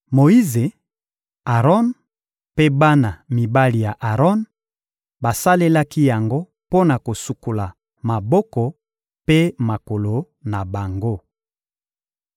Moyize, Aron mpe bana mibali ya Aron basalelaki yango mpo na kosukola maboko mpe makolo na bango.